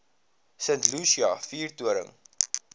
st lucia vuurtoring